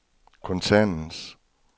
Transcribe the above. koncernens